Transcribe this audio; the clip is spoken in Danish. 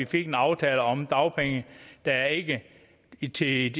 fik en aftale om dagpenge der ikke i tid